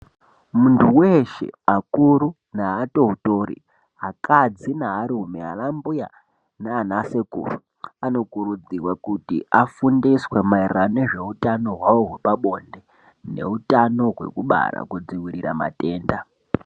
Muntu weshe akuru neatotori, akadzi nearume, anambuya nanasekuru anokurudzirwe kuti afundiswe maererano nezveutano hwavo hwepabonde neutano hwekubara kudzivirira matenda.